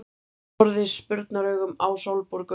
Horfði spurnaraugum á Sólborgu.